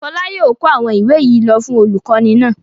Fọlá yóò kó àwọn ìwé yìí lọ fún olùkọ́ní náà.